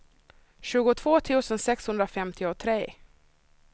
tjugotvå tusen sexhundrafemtiotre